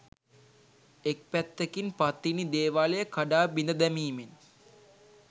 එක් පැත්කින් පත්තිනි දේවාලය කඩා බිඳදැමීමෙන්